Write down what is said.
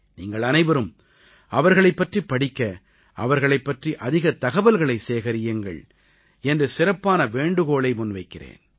நீங்கள் அனைவரும் அவர்களைப் பற்றிப் படிக்க அவர்களைப் பற்றி அதிகத் தகவல்களைச் சேகரியுங்கள் என்று சிறப்பான வேண்டுகோளை முன்வைக்கிறேன்